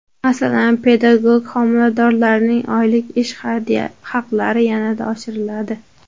Masalan, pedagog xodimlarning oylik ish haqlari yanada oshiriladi.